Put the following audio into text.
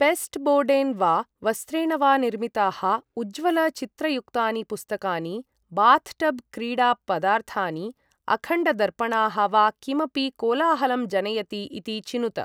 पेस्टबोर्डेन वा वस्त्रेण वा निर्मिताः उज्ज्वलचित्रयुक्तानि पुस्तकानि, बाथटबक्रीडापदार्थानि, अखण्डदर्पणाः, वा किमपि कोलाहलं जनयति इति चिनुत ।